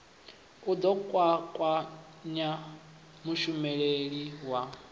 u ḓo kwakwanya mushumeli wa